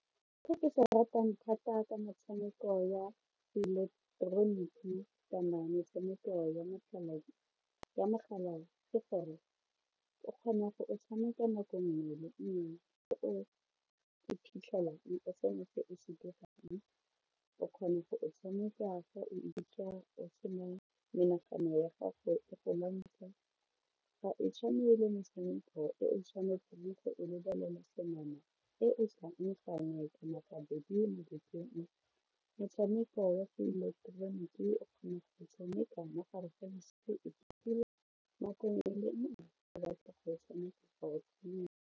Se ke se ratang thata ke metshameko ya ileketeroniki kana metshameko ya mogala ke gore o kgona go e tshameka nako nngwe le nngwe le go iphitlhela o se na o se dirang o kgona go e tshameka o se na menagano ya gago e go lwantsha, ga e tshwane le metshameko e o tshwanetseng go e lebelela senama e e tlang gangwe kana gabedi mo bekeng metshameko ya se-electronic o kgona go tshameka mo gare ga bosigo nako nngwe le nngwe le nna ke batla go e tshameka wa e tshameka.